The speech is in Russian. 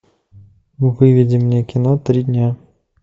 выведи мне кино три дня